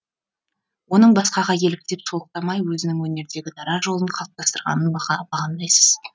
оның басқаға еліктеп солықтамай өзінің өнердегі дара жолын қалыптастырғанын бағамдайсыз